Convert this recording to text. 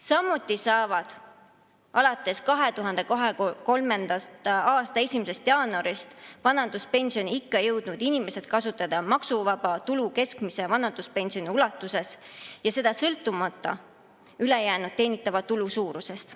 Samuti saavad alates 2023. aasta 1. jaanuarist vanaduspensioniikka jõudnud inimesed kasutada maksuvaba tulu keskmise vanaduspensioni ulatuses, sõltumata ülejäänud teenitava tulu suurusest.